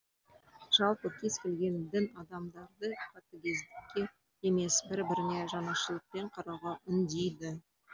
жалпы кез келген дін адамдарды қатыгездікке емес бір біріне жанашырлықпен қарауға үндейді